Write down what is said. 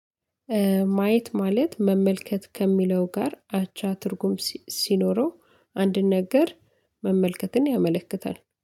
ማየት ማለት መመልከት ከሚለው ጋር አቻ ትርጉም ሲኖረው አንድን ነገር መመልከትን ያመለክታል።